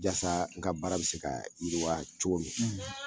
Yasa n ga baara bi se ka yiriwa cogo min na